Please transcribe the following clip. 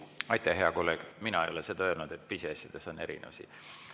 Aitäh, hea kolleeg, mina ei ole seda öelnud, et pisiasjades on erinevusi.